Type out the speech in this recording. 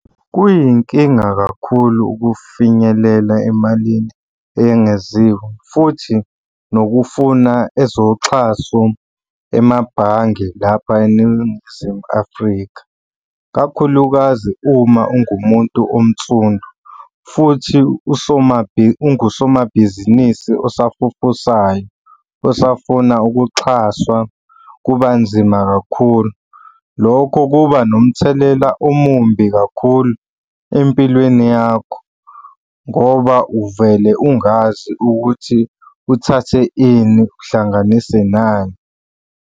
Kuyinkinga kakhulu ukufinyelela emalini eyengeziwe futhi nokufuna ezoxhaso emabhange lapha eNingizimu Afrika, kakhulukazi uma ungumuntu onsundu futhi ungusomabhizinisi osafufusayo osafuna ukuxhaswa kuba nzima kakhulu. Lokho kuba nomthelela omumbi kakhulu empilweni yakho ngoba uvele ungazi ukuthi uthathe ini, uhlanganise nani.